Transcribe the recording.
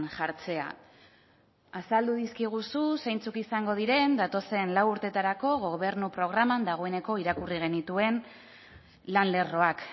jartzea azaldu dizkiguzu zeintzuk izango diren datozen lau urteetarako gobernu programan dagoeneko irakurri genituen lan lerroak